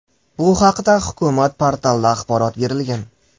Bu haqda Hukumat portalida axborot berilgan .